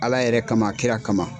Ala yɛrɛ kama kira kama.